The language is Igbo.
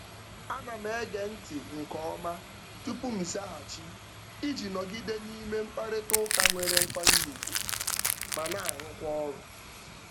Ana m ege ntị nke ọma tupu m zaghachi iji nọgide n'ime mkparịtaụka nwere nkwanye ugwu ma na-arụkwa ọrụ.